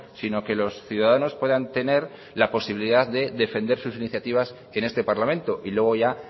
sino que los ciudadanos puedan tener la posibilidad de defender sus iniciativas en este parlamento y luego ya